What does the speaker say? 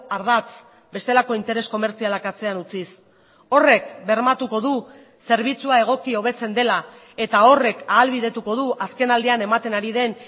ardatz bestelako interes komertzialak atzean utziz horrek bermatuko du zerbitzua egoki hobetzen dela eta horrek ahalbidetuko du azkenaldian ematen ari den